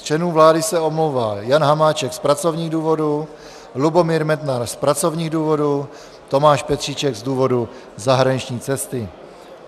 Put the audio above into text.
Z členů vlády se omlouvá: Jan Hamáček z pracovních důvodů, Lubomír Metnar z pracovních důvodů, Tomáš Petříček z důvodu zahraniční cesty.